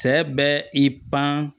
Cɛ bɛ i pan